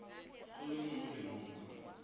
go le mo molemong wa